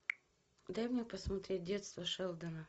дай мне посмотреть детство шелдона